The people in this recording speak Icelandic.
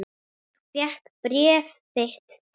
Ég fékk bréf þitt dags.